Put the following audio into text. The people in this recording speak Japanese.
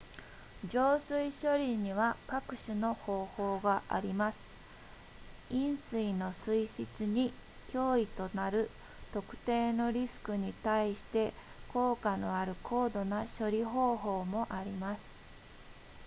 浄水処理には各種の方法があります飲水の水質に脅威となる特定のリスクに対して効果のある高度な処理方法もあります